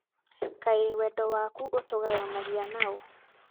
kaĩ wendo waku ũtũgayanagia naũ